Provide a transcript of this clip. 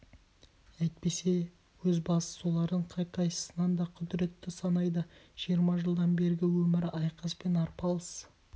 әйтпесе өз басы солардың қай-қайсысынан да құдыретті санайды жиырма жылдан бергі өмірі айқас пен арпалыс